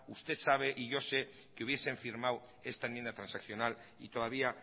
usted sabe y yo sé que hubiesen firmado esta enmienda transaccional y todavía